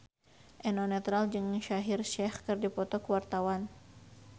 Eno Netral jeung Shaheer Sheikh keur dipoto ku wartawan